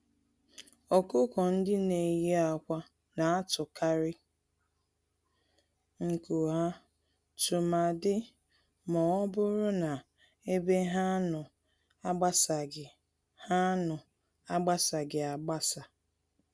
Ọkụkọ-ndị-neyi-ákwà natụkarị nku ha, tụmadi mọbụrụ na ebe ha nọ agbasaghị ha nọ agbasaghị agbasa